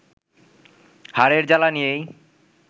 হারের জ্বালা নিয়েই